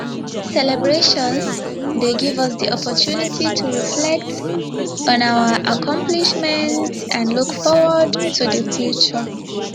celebrations dey give us di opportunity to reflect on our accomplishments and look forward to di future